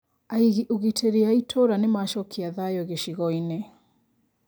Aigi ũgitĩri a itũra nĩmacokia thayo gĩcigo-inĩ